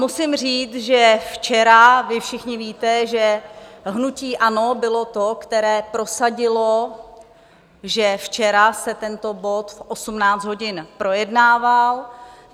Musím říct, že včera, vy všichni víte, že hnutí ANO bylo to, které prosadilo, že včera se tento bod v 18 hodin projednával.